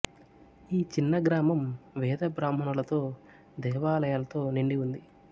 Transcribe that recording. ఈ చిన్న గ్రామం వేద బ్రాహ్మణులతో దేవాలయాలతో నిండి ఉంది